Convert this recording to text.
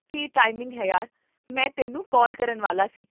ਕੀ timing ਹੈ ਯਾਰ, ਮੈਂ ਤੈਨੂੰ ਕਾਲ ਕਰਨ ਵਾਲਾ ਸੀ